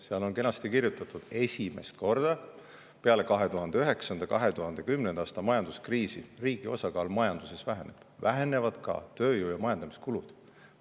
Seal on kenasti kirjutatud: esimest korda peale 2009.–2010. aasta majanduskriisi riigi osakaal majanduses väheneb, vähenevad ka tööjõu‑ ja majandamiskulud.